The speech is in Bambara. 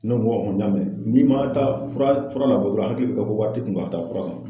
Ne ko n y'a mɛ, n'i ma taa fura fura labɔ dɔrɔn hakili be kɛ ko wari t'i kun k'a ta ta fura kan